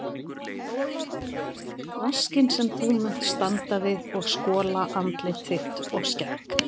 Vaskinn sem þú munt standa við og skola andlit þitt og skegg.